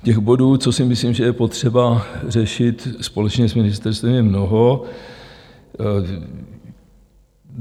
Těch bodů, co si myslím, že je potřeba řešit společně s ministerstvem, je mnoho.